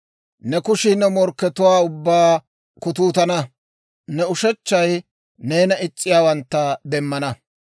Ne kushii ne morkkatuwaa ubbaa kutuutana; ne ushechchay neena is's'iyaawantta demmana.